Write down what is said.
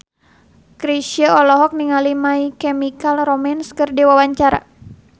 Chrisye olohok ningali My Chemical Romance keur diwawancara